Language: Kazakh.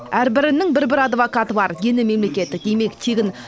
әрбірінің бір бір адвокаты бар дені мемлекеттік демек тегін